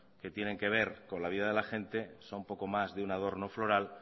que tienen que ver con la vida de la gente son poco más que un adorno floral